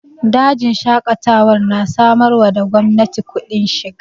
Dajin Shaƙatawar na samar wa da gwamnati kudin shiga